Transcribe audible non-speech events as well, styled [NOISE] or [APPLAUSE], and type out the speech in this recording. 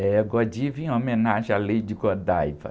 É [UNINTELLIGIBLE] em homenagem à Lady Godiva.